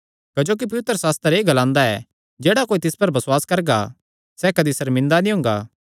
क्जोकि पवित्रशास्त्र एह़ ग्लांदा ऐ जेह्ड़ा कोई तिस पर बसुआस करगा सैह़ कदी सर्मिंदा नीं हुंगा